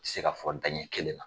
tɛ se ka fɔ daɲɛ kelen na.